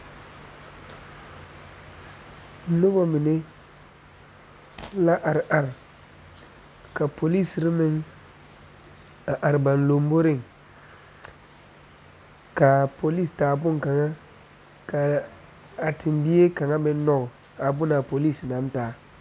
Noba mine la are are ka polisiri meŋ a are ba lamboriŋ kaa poli taa boŋkaŋa kaa tembie kaŋ meŋ nyɔge a bona a polisi naŋ taa